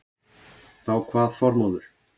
Þá kvað Þormóður